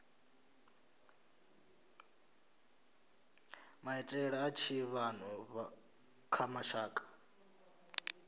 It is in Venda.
maitele a tshiḓivhano kha mashaka